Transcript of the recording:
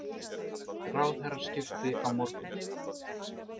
Ráðherraskipti á morgun